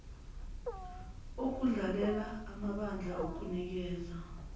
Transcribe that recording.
okudlalela amabandla okunikeza